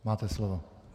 Máte slovo.